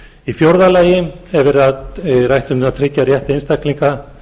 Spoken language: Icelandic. í fjórða lagi er rætt um að tryggja rétt einstaklinga